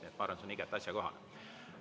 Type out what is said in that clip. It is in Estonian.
Nii et ma arvan, see on igati asjakohane.